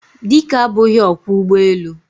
Dike abughi okwo ugboelu.